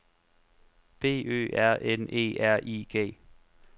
B Ø R N E R I G